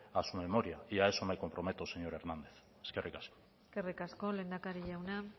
a su memoria y a eso me comprometo señor hernández eskerrik asko eskerrik asko lehendakari jauna